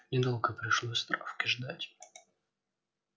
недолго пришлось травке ждать